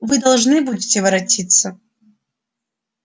вы должны будете воротиться